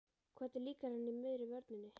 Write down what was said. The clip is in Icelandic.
Hvernig líkar henni í miðri vörninni?